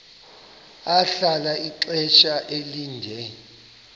ahlala ixesha elide